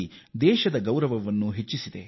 ಇದು ನಮ್ಮ ದೇಶದ ಪ್ರತಿಷ್ಠೆಯನ್ನು ಉತ್ತುಂಗಕ್ಕೆ ಏರಿಸಿದೆ